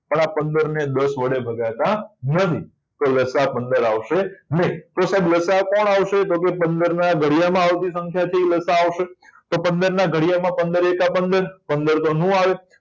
તો આ પંદર ને દસ વડે ભગાતા નથી તો લસા પંદર આવશે નહીં તો લસાઅ કોણ આવશે તો કે પંદરના ઘડિયામાં પંદરના ઘડિયામાં આવતી સંખ્યા લ. સા. અ છે એ આવશે તો પંદરના ઘડિયામાં પંદર એકા પંદર તો પંદર ન આવે